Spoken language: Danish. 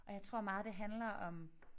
Og jeg tror meget det handler om